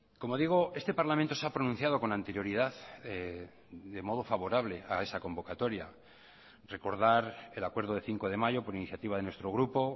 como digo este parlamento se ha pronunciado con anterioridad de modo favorable a esa convocatoria recordar el acuerdo de cinco de mayo por iniciativa de nuestro grupo